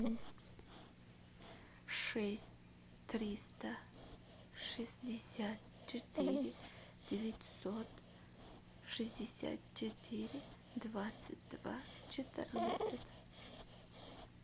шесть триста шестьдесят четыре девятьсот шестьдесят четыре двадцать два четырнадцать